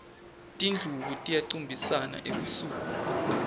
tindlubu tiyacumbisana ebusuku